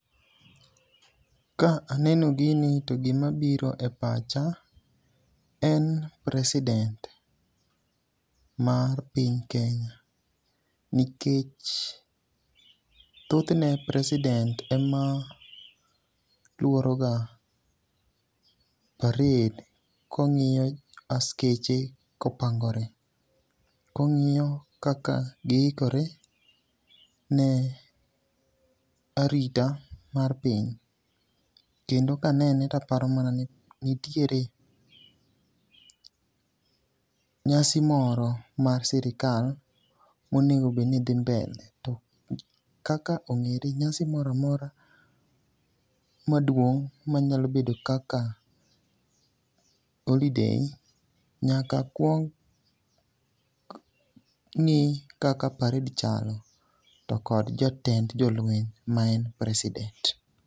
Ka aneno gini to gima biro e pacha en president mar piny Kenya nikech thoth ne president ema luoro ga parade kong'iyo askeche kopangore, kong'iyo kaka giikore ne arita mar piny. Kendo kanene taparo mana nitiere nyasi moro mar sirkal monego bed ni dhi mbele. To kaka ongere nyasi moro amora maduong manyalo bedo kaka holiday nyaka kuong ng'i kaka parade chalo tokod jotend jolweny ma en president